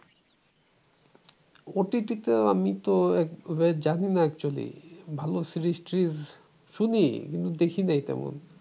অতীতে তো আমি জানি না actually ভালো series ট্রিজ শুনি কিন্তু দেখি না তেমন